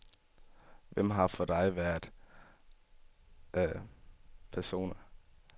Hvem har for dig været autoritative personer?